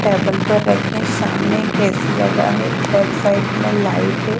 Table पर रखें सामने एक ऐ_सी लगा है बैक साइड में लाइट है।